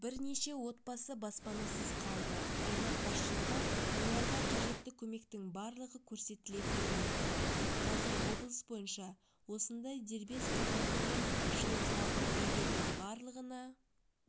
бірнеше отбасы баспанасыз қалды аймақ басшылығы оларға қажетті көмектің барлығы көрсетілетінін айтты қазір облыс бойынша осындай дербес қазандықпен жылытылатын үйлердің барлығына